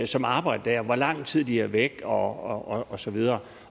som arbejder der og lang tid de er væk og og så videre